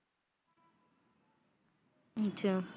ਅੱਛਾ।